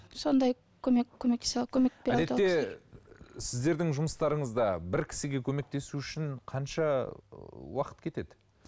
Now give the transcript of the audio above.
сондай көмек көмектесе әдетте сіздердің жұмыстарыңызда бір кісіге көмектесу үшін қанша уақыт кетеді